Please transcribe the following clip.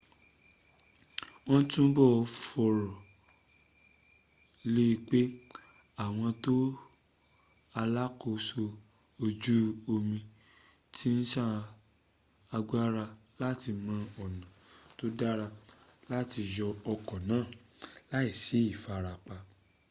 won tubo foro le pe awon to alaakoso oko oju omi ti n sa agbara won lati mo ona to dara ju lati yo oko naa laisi ifarapa